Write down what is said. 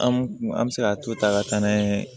An kun an bɛ se ka to ta ka taa n'a ye